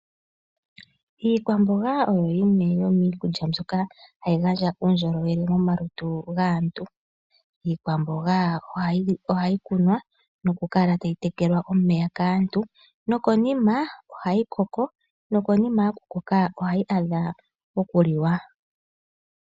Iikwamboga oyo yimwe yomii kudja mbyoka hayi gandja uundjolowele moma lutu gaantu. Iikwamboga oha yi kunwa noku kala tayi tekelwa omeya kaantu, noko nima ohayi koko noko nima yoku koka, ohayi adha oku liwa.